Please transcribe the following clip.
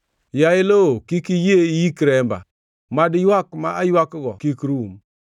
“Yaye lowo, kik iyie iyik remba; mad ywak ma aywakgo kik rum!